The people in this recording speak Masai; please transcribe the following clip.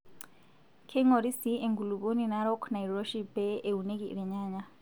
Keing'ori sii enkulupuoni narok nairoshi pee eunieki irnyanya.